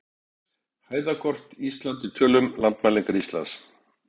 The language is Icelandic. Hæðakort: Ísland í tölum- Landmælingar Íslands.